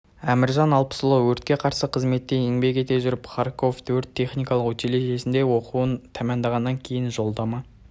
әміржан алпысұлы өртке қарсы қызметте еңбек ете жүріп харьковөрт техникалық училищесінде оқыды оқуын тәмәмдағаннан кейін жолдама